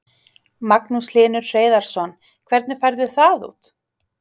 Magnús Hlynur Hreiðarsson: Hvernig færðu það út?